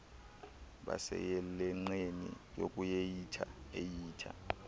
baseyelenqeni lokuehitha ehitha